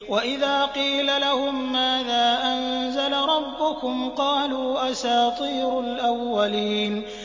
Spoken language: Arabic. وَإِذَا قِيلَ لَهُم مَّاذَا أَنزَلَ رَبُّكُمْ ۙ قَالُوا أَسَاطِيرُ الْأَوَّلِينَ